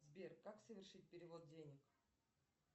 сбер как совершить перевод денег